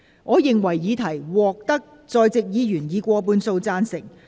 我認為議題獲得在席議員以過半數贊成。